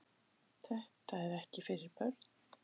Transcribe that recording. Þetta er ekki fyrir börn.